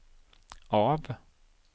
av